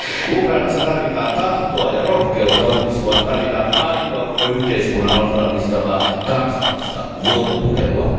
Ukrainassa tarvitaan tahtoa ja rohkeutta uudistua, tarvitaan aitoa, koko yhteiskunnan osallistavaa kansallista vuoropuhelua.